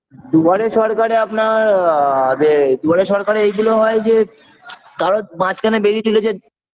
দুয়ারে সরকারে আপনার আ বে দুয়ারে সরকারে এগুলো হয় যে কারোর মাঝখানে বেরিয়েছিল যে